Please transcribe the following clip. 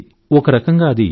ఒక రకంగా అది వి